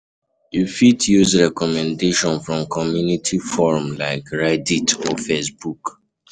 You fit use recommendation from community forum like Reddit or Facebook